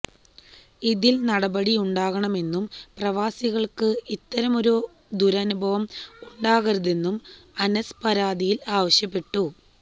ഇതിൽ നടപടിയുണ്ടാവണമെന്നും പ്രവാസികൾക്കു ഇത്തരമൊരു ദുരനുഭവം ഉണ്ടാകരുതെന്നും അനസ് പരാതിയിൽ ആവശ്യപ്പെട്ടു